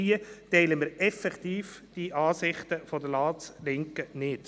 Wir teilen diesbezüglich die Ansichten der Ratslinken nicht.